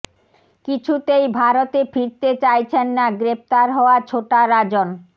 কিছুতেই ভারতে ফিরতে চাইছেন না গ্রেফতার হওয়া ছোটা রাজন